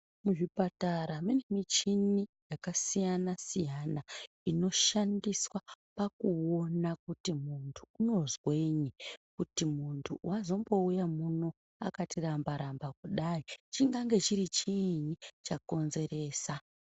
Muchipatara mune michini yakasiyana siyana, inoshandiswa pakuona kuti muntu unozwenyi, kuti muntu wazombouya muno akati ramba-ramba kadai, chingange chiri chiini chakonzeresa.